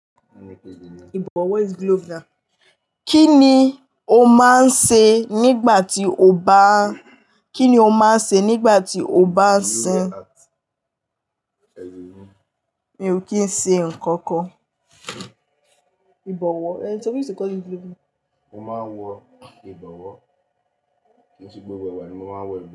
Ìbọ̀wọ́ is glove na. Kí ni o máa ń ṣe nígbà tí o bá ń, kí ni o máa ń ṣe nígbà tí o bá ń sin? Mi ò kí ń ṣe nǹkan kan. Ìbọ̀wọ́. Eh, so we used to call it glove? Mo máa ń wọ ìbọ̀wọ́. Ní gbogbo ìgbà ni mo máa ń wọ ìbọ̀wọ́.